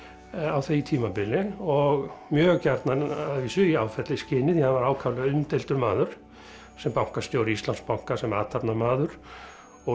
á því tímabili og mjög gjarnan að vísu í því hann var ákaflega umdeildur maður sem bankastjóri Íslandsbanka sem athafnamaður og